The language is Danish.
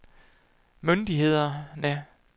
myndighederne